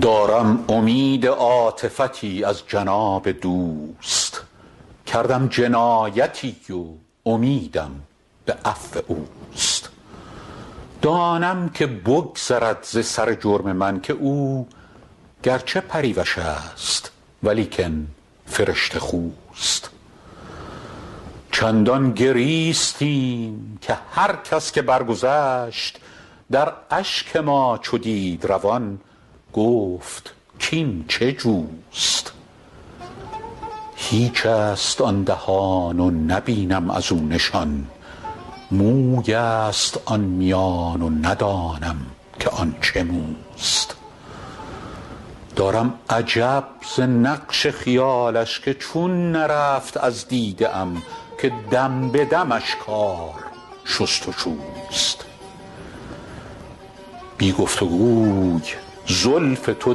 دارم امید عاطفتی از جناب دوست کردم جنایتی و امیدم به عفو اوست دانم که بگذرد ز سر جرم من که او گر چه پریوش است ولیکن فرشته خوست چندان گریستیم که هر کس که برگذشت در اشک ما چو دید روان گفت کاین چه جوست هیچ است آن دهان و نبینم از او نشان موی است آن میان و ندانم که آن چه موست دارم عجب ز نقش خیالش که چون نرفت از دیده ام که دم به دمش کار شست و شوست بی گفت و گوی زلف تو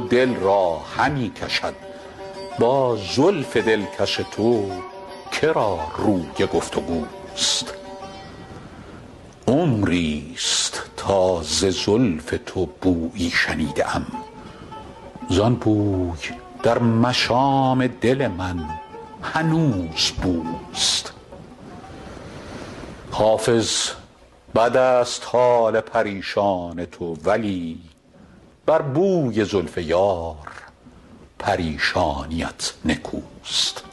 دل را همی کشد با زلف دلکش تو که را روی گفت و گوست عمری ست تا ز زلف تو بویی شنیده ام زان بوی در مشام دل من هنوز بوست حافظ بد است حال پریشان تو ولی بر بوی زلف یار پریشانیت نکوست